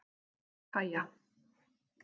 Kaja